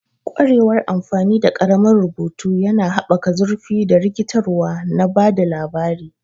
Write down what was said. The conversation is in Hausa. Ƙwarewar amfani da ƙaramin rubutu yana haɓaka zurfi da rikitarwa na ba da labari.